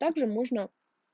также можно